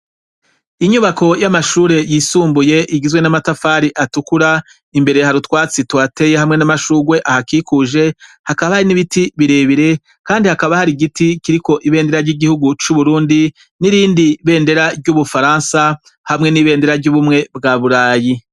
Inyubako y'amashure yisumbuye igizwe n'amatafari atukura imbere ha rutwatsi twateye hamwe n'amashugwe ahakikuje hakaba hari n'ibiti birebire, kandi hakaba hari igiti kiriko ibendera ry'igihugu c'uburundi n'irindi bendera ry'ubufaransa hamwe n'ibendera ry'ubumwe bwa burayi.